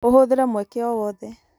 ũhũthĩre mweke o wothe